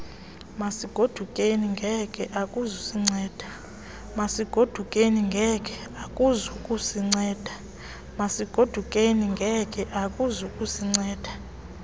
masigodukeni genge akuzukusinceda